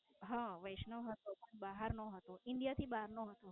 હા, વૈષ્ણવ હતો પણ બહાર નો હતો India થી બહાર નો હતો.